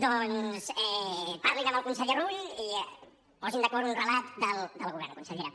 doncs parlin amb el conseller rull i posin d’acord un relat del govern consellera